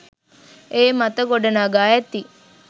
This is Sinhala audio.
ඒ මත ගොඩ නගා ඇති